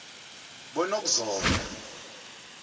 bonokuzola